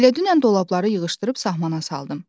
Elə dünən dolabları yığışdırıb sahmana saldım.